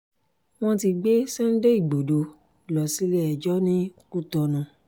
wọ́n ti gbé sunday igbodò lọ sílé-ẹjọ́ ní cotonou